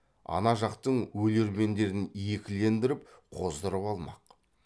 ана жақтың өлермендерін екілендіріп қоздырып алмақ